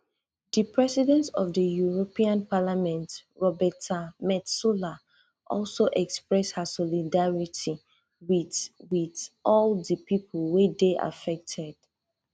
di president of di european parliament roberta metsola also express her solidarity wit wit all di pipo wey dey affected